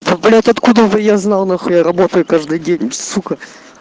блять откуда бы я знал нахуй я работаю каждый день сука